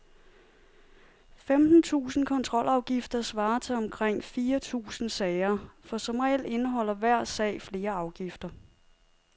Femten tusinde kontrolafgifter svarer til omkring fire tusinde sager, for som regel indeholder hver sag flere afgifter.